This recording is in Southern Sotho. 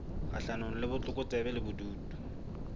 kgahlanong le botlokotsebe le bobodu